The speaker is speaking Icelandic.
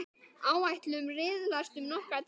Áætlun riðlast um nokkra daga.